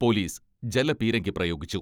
Police ജലപീരങ്കി പ്രയോഗിച്ചു.